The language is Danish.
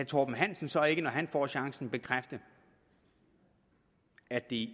torben hansen så ikke når han får chancen bekræfte at det